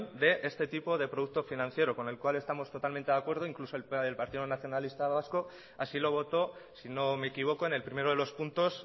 de este tipo de producto financiero con el cual estamos totalmente de acuerdo incluso el partido nacionalista vasco así lo votó si no me equivoco en el primero de los puntos